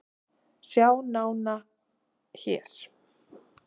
Sjá nána hér